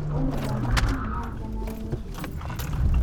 ore nkong'at ang naa kenare nerripi